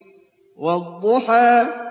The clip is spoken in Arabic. وَالضُّحَىٰ